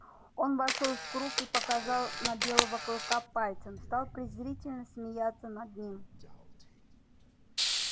он вошёл в круг и показал на белого клыка пальцем стал презрительно смеяться над ним